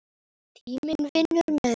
Tíminn vinnur með henni.